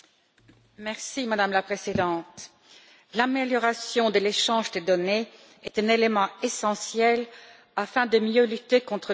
Madame la Présidente, l'amélioration de l'échange des données est un élément essentiel afin de mieux lutter contre le terrorisme.